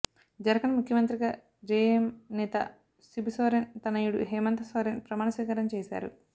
జార్ఖండ్ ముఖ్యమంత్రిగా జేఎంఎం నేత శిబుసోరెన్ తనయుడు హేమంత్ సోరెన్ ప్రమాణ స్వీకారం చేశారు